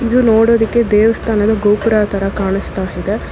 ಇದು ನೋಡೋದುಕ್ಕೆ ದೇವಸ್ಥಾನದ ಗೋಪುರ ತರ ಕಾಣಿಸ್ತಾ ಹಿದೆ.